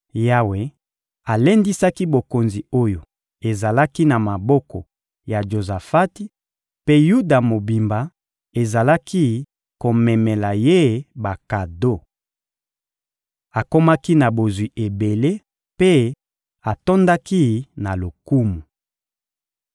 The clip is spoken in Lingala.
Yawe alendisaki bokonzi oyo ezalaki na maboko ya Jozafati, mpe Yuda mobimba ezalaki komemela ye bakado. Akomaki na bozwi ebele mpe atondaki na lokumu.